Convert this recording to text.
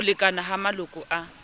ho lekana ha maloko a